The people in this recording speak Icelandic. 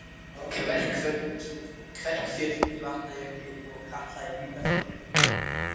Kverkfjöll í Vatnajökli og Katla í Mýrdalsjökli.